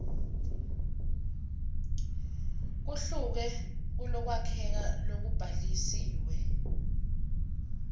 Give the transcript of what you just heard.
kuhluke kulokwakheka lokubhalisiwe